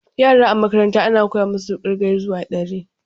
Yara a makaranta ana koya musu ƙirge zuwa dari